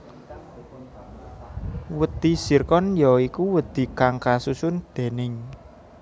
Wedhi Zirkon ya iku wedhi kang kasusun déning